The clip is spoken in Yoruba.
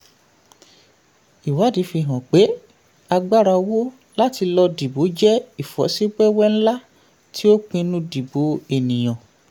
ìwádìí fi hàn pé agbára owó láti lọ dìbò jẹ ìfọ́síwẹ́wẹ́ ńlá tí ó pinnu dìbò ènìyàn.